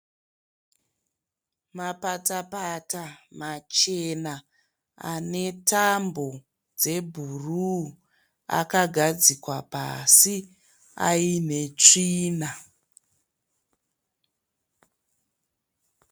Mapatapata machena ane tambo dzebhuruu akagadzikwa pasi ayine tsvina.